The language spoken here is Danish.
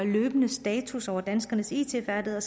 status over danskernes it færdigheder